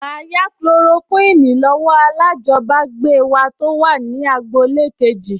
Màá yá Kulorokíìnì lọ́wọ́ alájọbágbé wa tó wà ní agboolé kejì